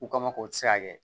U kama k'o tɛ se ka kɛ